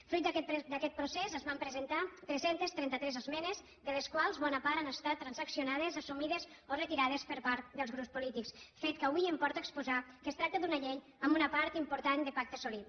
fruit d’aquest procés es van presentar tres cents i trenta tres esmenes de les quals bona part han estat transaccionades assumides o retirades per part dels grups polítics fet que avui em porta a exposar que es tracta d’una llei amb una part important de pacte assolit